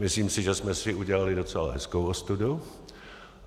Myslím si, že jsme si udělali docela hezkou ostudu.